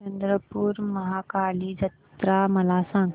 चंद्रपूर महाकाली जत्रा मला सांग